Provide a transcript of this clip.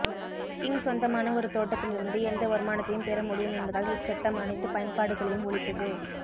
king சொந்தமான ஒரு தோட்டத்திலிருந்து எந்த வருமானத்தையும் பெறமுடியும் என்பதால் இச்சட்டம் அனைத்துப் பயன்பாடுகளையும் ஒழித்தது